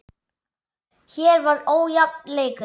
Hér var ójafn leikur.